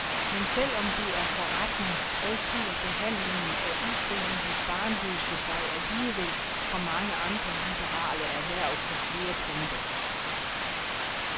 Men selv om det er forretning, adskiller behandlingen af ufrivilligt barnløse sig alligevel fra mange andre liberale erhverv på flere punkter.